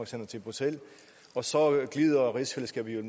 sender til bruxelles og så glider rigsfællesskabet